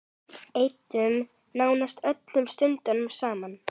Eyddum nánast öllum stundum saman.